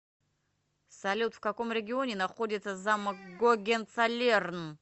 салют в каком регионе находится замок гогенцоллерн